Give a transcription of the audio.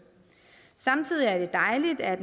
samtidig er det dejligt at